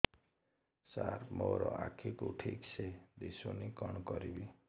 ସାର ମୋର ଆଖି କୁ ଠିକସେ ଦିଶୁନି କଣ କରିବି